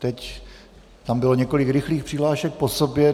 Teď tam bylo několik rychlých přihlášek po sobě.